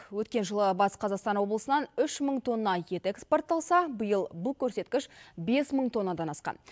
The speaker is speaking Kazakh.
өткен жылы батыс қазақстан облысынан үш мың тонна ет экспортталса биыл бұл көрсеткіш бес мың тоннадан асқан